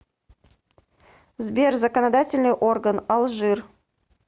сбер законодательный орган алжир